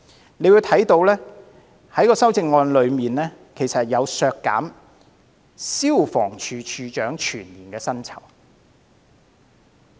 大家可以看到，有一項修正案要求削減消防處處長的全年薪酬。